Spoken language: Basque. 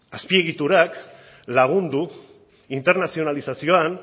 azpiegiturak lagundu internazionalizazioan